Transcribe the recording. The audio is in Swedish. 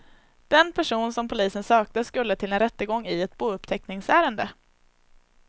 Den person som polisen sökte skulle till en rättegång i ett bouppteckningsärende.